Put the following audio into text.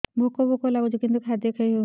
ଭୋକ ଭୋକ ଲାଗୁଛି କିନ୍ତୁ ଖାଦ୍ୟ ଖାଇ ହେଉନି